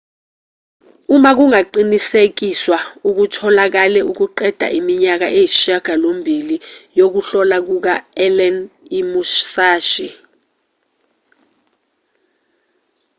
uma kungaqinisekiswa okutholakele kuqeda iminyaka eyisishiyagalombili yokuhlola kuka-allen imusashi